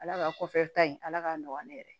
Ala ka kɔfɛ ta in ala k'a nɔgɔya ne yɛrɛ ye